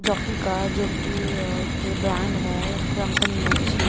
jockey का जो की अ एक ब्रैंड हैं एक कंपनी हैं अच्छी --